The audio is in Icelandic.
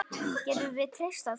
Getum við treyst á þig?